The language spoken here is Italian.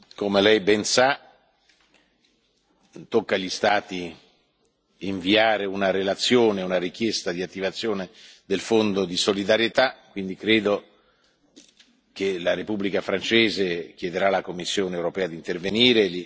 Come lei ben sa, tocca agli Stati inviare una relazione e presentare una richiesta di attivazione del Fondo di solidarietà. Quindi, credo che la Repubblica francese chiederà alla Commissione europea di intervenire.